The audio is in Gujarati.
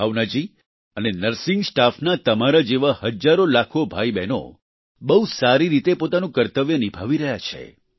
ભાવના જી અને નર્સિંગ સ્ટાફના તમારા જેવા હજારોલાખો ભાઈબહેનો બહુ સારી રીતે પોતાનું કર્તવ્ય નિભાવી રહ્યા છે